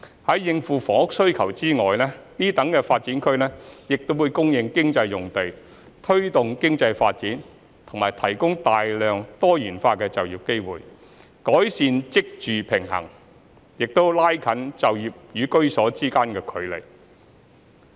在應付房屋需求外，此等新發展區亦會供應經濟用地，推動經濟發展及提供大量多元化就業機會，改善職住平衡，亦拉近就業與居所之間距離。